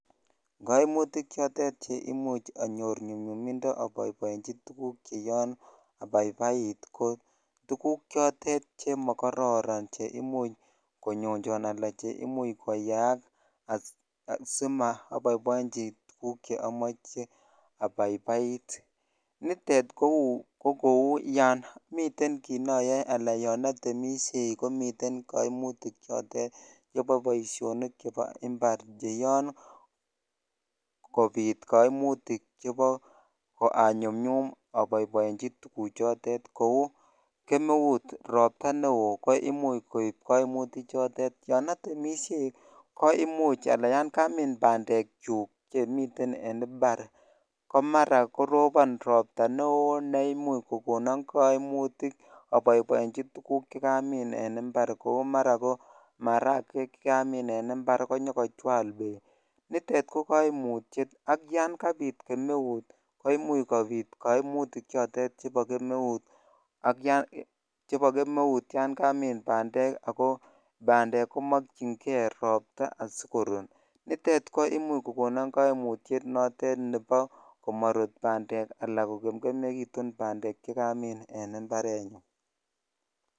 Koimutik chotet cheimuch anyor nyumnyumindo oboiboenchi tukuk cheyoon abaibait ko tukuk chotet chemokororon cheimuch konyonjon alaa cheimuch koyaak asimoboiboenchi tukuk cheomoche abaibait, nitet ko kouu yon miten kiit noyoe alaan yon otemishei komiten koimutik chotet chebo boishonik chebo imbar cheyoon kobit koimutik chebo anyumnyum aboiboenchi tukuchotet kouu kemeut, robta neo koimuch koib koimuti chotet, yon otemishei ko imuch alaa yon kamin bandekyuk chemiten en mbar ko mara korobon robta neoo neimuch kokonon koimutik aboiboenchi minutik chekamin en mbar kou mara ko marakwek chekamin en mbar konyokochwal Beek, nitet ko koimutiet ak yon kabit kemeut ko imuch kobiit koimutik chotet chebo kemeut ak yon chebo kemeut ak yon kamin bandek ak ko bandek komokying'e rabta asikorut, nitet koimuch kokonin koimutiet notet nebo komorut bandek alaan ko kemkemekitun bandek chekamin en mbarenyun.